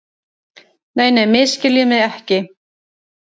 Nei, nei, misskiljið mig ekki.